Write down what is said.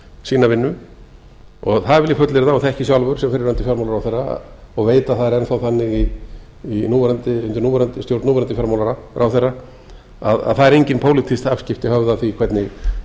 sína vinnu það vil ég fullyrða og þekki sjálfur sem fyrrverandi fjármálaráðherra og veit að það er enn þá þannig undir stjórn núverandi fjármálaráðherra að það eru engin pólitísk afskipti höfð af því hvernig